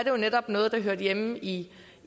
jo netop noget der hører hjemme i